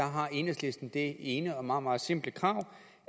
har enhedslisten det ene og meget meget simple krav